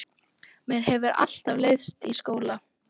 Mér hefur alltaf leiðst í skóla.